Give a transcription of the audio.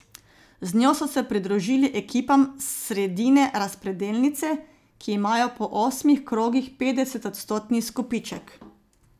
Z njo so se pridružili ekipam s sredine razpredelnice, ki imajo po osmih krogih petdesetodstotni izkupiček.